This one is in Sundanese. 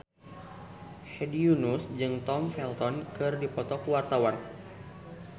Hedi Yunus jeung Tom Felton keur dipoto ku wartawan